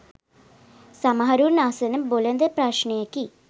සමහරුන් අසන බොළඳ ප්‍රශ්නයකි.